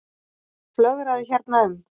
Flögraði hérna um.